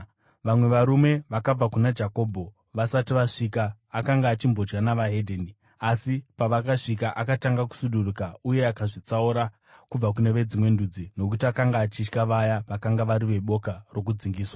Vamwe varume vakabva kuna Jakobho vasati vasvika, akanga achimbodya neveDzimwe Ndudzi. Asi pavakasvika, akatanga kusuduruka uye akazvitsaura kubva kune veDzimwe Ndudzi nokuti akanga achitya vaya vakanga vari veboka rokudzingiswa.